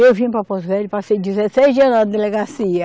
Eu vim para Porto Velho, passei dezesseis dias na delegacia.